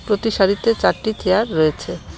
প্রতি সারিতে চারটি চেয়ার রয়েছে.